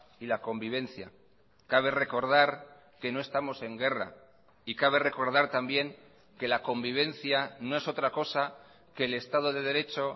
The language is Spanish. y la convivencia cabe recordar que no estamos en guerra y cabe recordar también que la convivencia no es otra cosa que el estado de derecho